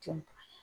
Jɔn